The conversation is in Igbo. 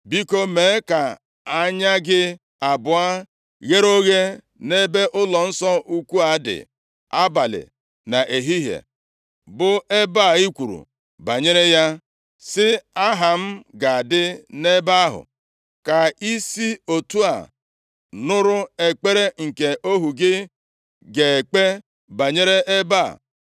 Biko, mee ka anya gị abụọ ghere oghe nʼebe ụlọnsọ ukwu a dị, abalị na ehihie, bụ ebe a i kwuru banyere ya, sị, ‘Aha m ga-adị nʼebe ahụ,’ ka i si otu a nụrụ ekpere nke ohu gị ga-ekpe banyere ebe a.